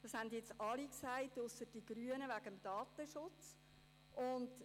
Alle haben es gesagt, ausser die Grünen wegen des Datenschutzes.